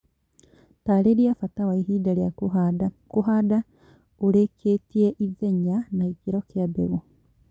Tarĩria bata wa ihinda rĩa kũhanda, kũhanda ũrikĩtie, ithenya na gĩkĩro kia mbegũ